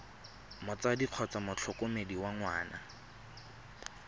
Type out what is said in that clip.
motsadi kgotsa motlhokomedi wa ngwana